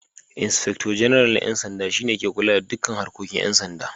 Inspector Janarnal na 'Yan Sanda shi ne ke kula da dukkan harkokin 'yan sanda